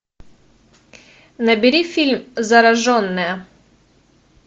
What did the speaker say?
набери фильм зараженная